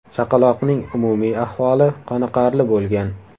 Chaqaloqning umumiy ahvoli qoniqarli bo‘lgan.